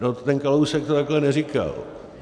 No, ten Kalousek to takhle neříkal.